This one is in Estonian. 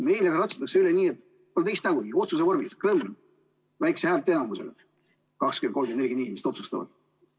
Meil aga ratsutatakse sellest üle otsuse vormis, niimoodi kõmm!, väikese häälteenamusega, 20, 30 või 40 inimest otsustavad.